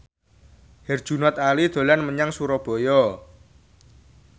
Herjunot Ali dolan menyang Surabaya